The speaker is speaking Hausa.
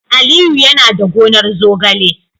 Aliyu yana da gonar zogale